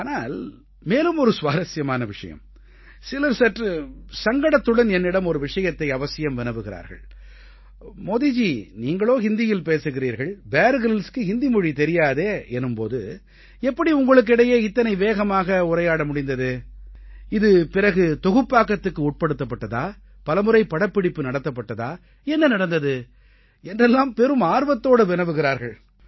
ஆனால் மேலும் ஒரு சுவாரசியமான விஷயம் சிலர் சற்று சங்கடத்துடன் என்னிடம் ஒரு விஷயத்தை அவசியம் வினவுகிறார்கள் மோதிஜி நீங்களோ ஹிந்தியில் பேசுகிறீர்கள் பியர் Gryllsக்கு ஹிந்தி மொழி தெரியாதே எனும் போது எப்படி உங்களுக்கு இடையே இத்தனை வேகமாக உரையாட முடிந்தது இது பிறகு தொகுப்பாக்கத்துக்கு உட்படுத்தப்பட்டதா பலமுறை படப்பிடிப்பு நடத்தப்பட்டதா என்ன நடந்தது என்றெல்லாம் பெரும் ஆர்வத்தோடு வினவுகிறார்கள்